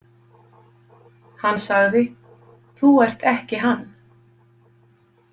Hann sagði: Þú ert ekki Hann.